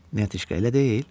Neytişqa elə deyil?